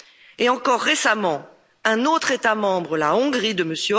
Et, encore récemment, un autre État membre, la Hongrie de M.